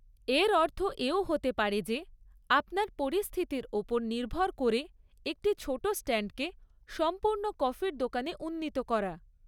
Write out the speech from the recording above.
এর অর্থ এও হতে পারে যে, আপনার পরিস্থিতির ওপর নির্ভর করে একটি ছোট স্ট্যান্ডকে সম্পূর্ণ কফির দোকানে উন্নীত করা।